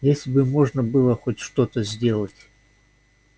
если бы можно было хоть что-то сделать